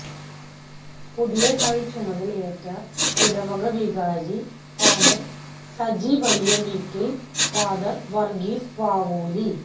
പുതിയതായി ചുമതലയേറ്റ ഇടവക വികാരം ഫാ സജി വലിയ വീട്ടിൽ ഫാ വർഗീസ് വാവോലി